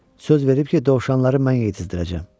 Söz verib ki, dovşanları mən yetizdirəcəm.